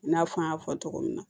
I n'a fɔ an y'a fɔ cogo min na